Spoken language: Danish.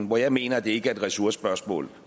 hvor jeg mener at det ikke er et ressourcespørgsmål